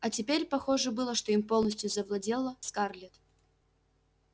а теперь похоже было что им полностью завладела скарлетт